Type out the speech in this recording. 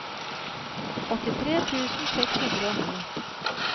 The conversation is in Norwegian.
åttitre tusen seks hundre og ni